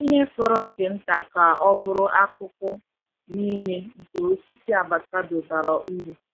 Ihe fọrọ nke nta ka ọ bụrụ akụkụ niile nke osisi avocado bara uru.